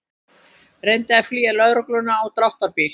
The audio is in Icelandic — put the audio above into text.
Reyndi að flýja lögregluna á dráttarbíl